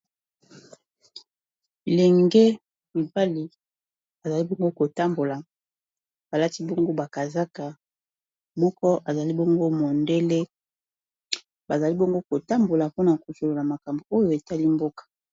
Lenge mibali azali bongo kotambola balati bongo ba kazaka moko azali bongo mondele bazali bongo kotambola mpona kosolola makambo oyo etali mboka.